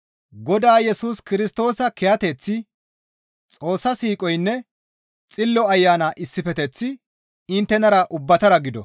Godaa Yesus Kirstoosa kiyateththi, Xoossa siiqoynne Xillo Ayana issifeteththi inttenara ubbatara gido.